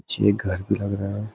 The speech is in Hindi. ये घर भी लग रहा है।